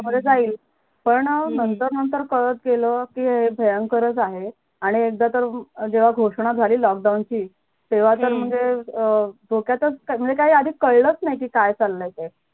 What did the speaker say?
पण नंतर नंतर कळत गेल कि हे भंयकरच आहे आणि एकदा तर जेव्हा घोषणा झाली lockdown ची तेव्हा तर म्हणजे अं ची तेव्हा तर म्हणजे धोक्यताच म्हणजे आधी काही कळलच नाही कि काय चालय